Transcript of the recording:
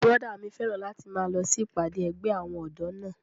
Bùrọ̀dá mi fẹ́ràn láti máa lọ sí ìpàdé ẹgbẹ́ àwọn ọ̀dọ́ náà